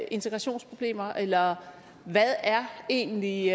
integrationsproblemer eller hvad er egentlig